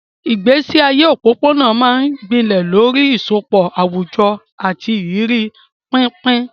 Ìgbésí ayé òpópónà máa ń gbilẹ̀ lórí ìsopọ̀ àwùjọ àti ìrírí pínpín.